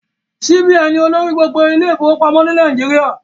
CBN ni olórí gbogbo ilé ìfọwọ́pamọ́ ni Nàìjíríà